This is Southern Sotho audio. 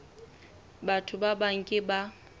batho ba bang ke ba